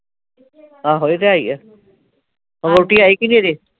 ਆਹੋ ਇਹ ਤੇ ਹੈ ਈ ਆ ਵਹੁਟੀ ਆਈ ਕੇ ਨਹੀਂ ਅਜੇ